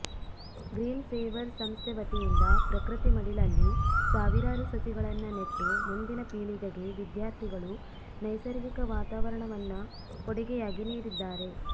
green Savers ಸಂಸ್ಥೆವತಿಯಿಂದ ಪ್ರಕೃತಿ ಮಡಿಲಲ್ಲಿ ಸಾವಿರಾರು ಸಸಿಗಳನ್ನ ನೆಟ್ಟು ಮುಂದಿನ ಪೀಳಿಗೆಗೆ ವಿದ್ಯಾರ್ಥಿಗಳು ನೈಸರ್ಗಿಕ ವಾತಾವರಣವನ್ನ ಕೊಡುಗೆಯಾಗಿ ನೀಡಿದ್ದಾರೆ